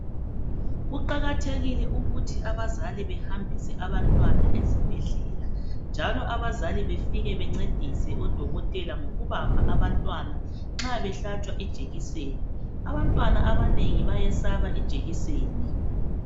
Kuqakathekile ukuthi abazali behambise abantwana ezibhedlela njalo abazali befike bencedise odokotela ngokubamba abantwana nxa behlatshwa ijekiseni abantwana abanengi bayesaba ijekiseni.